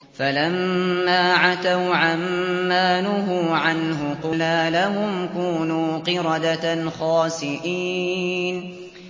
فَلَمَّا عَتَوْا عَن مَّا نُهُوا عَنْهُ قُلْنَا لَهُمْ كُونُوا قِرَدَةً خَاسِئِينَ